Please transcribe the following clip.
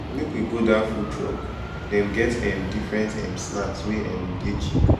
make we go dat food truck dem get um different um snacks wey um dey cheap